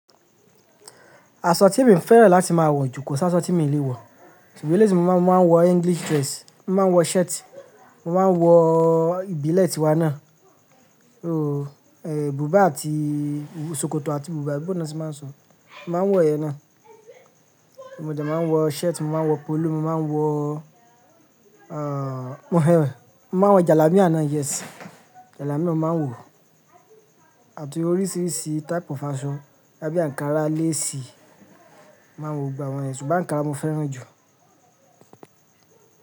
Aṣọ tí mi fẹ́ràn láti máa wọ jù kọ́ ṣa aṣọ tí mi lè wọ̀. Ṣùgbọ́n eléyìí tí mo máa ń wọ, máa n English dress, mo máa ń wọ shirt, mo máa ń wọ ìbílẹ̀ tiwa náà. Ooo, bubà àti sokoto àti bubà, abi boo ni wọ́n ti máa ń sọ, mo máa ń wọ èyí náà. Mo dẹ máa ń wọ shirt, mo máa ń wọ polo, mo máa ń wọ, mo máa ń wọ jalamia náà, yes. Jalamia mo máa ń wọ̀. Àti oríṣiríṣi type of aso, bóyá bí ankara lace máa ń wọ gbogbo àwọn yen, ṣùgbọ́n ankara mo fẹ́ràn jù.